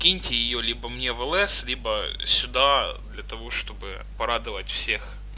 скиньте её либо мне в лс либо сюда для того чтобы порадовать всех